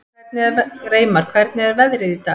Reimar, hvernig er veðrið í dag?